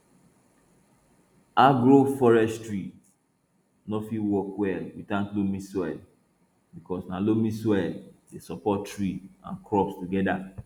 agroforestry nor fit work well without loamy soil because na loamy soil dey support tree and crops together